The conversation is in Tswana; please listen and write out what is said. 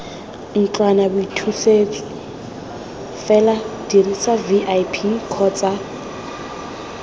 ntlwanaboithusetso fela dirisa vip kgotsa